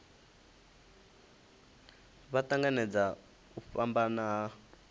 vha tanganedza u fhambana ha